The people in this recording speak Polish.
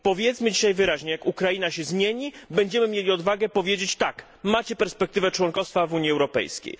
Powiedzmy dzisiaj wyraźnie jak Ukraina się zmieni, będziemy mieli odwagę powiedzieć tak, macie perspektywę członkostwa w Unii Europejskiej.